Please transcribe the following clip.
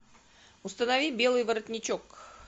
установи белый воротничок